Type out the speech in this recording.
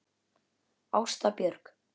Ásta Björk.